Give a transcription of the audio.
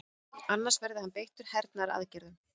Annars verði hann beittur hernaðaraðgerðum